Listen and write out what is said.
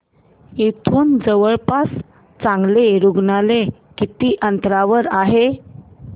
इथे जवळपास चांगलं रुग्णालय किती अंतरावर आहे